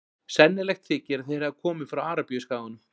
Sennilegt þykir að þeir hafi komið frá Arabíuskaganum.